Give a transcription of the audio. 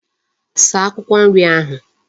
Saa Akwukwo nri ahu